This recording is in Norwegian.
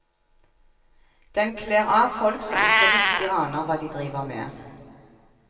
Den kler av folk som ikke riktig aner hva de driver med.